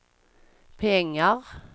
pengar